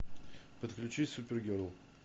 подключи супергерл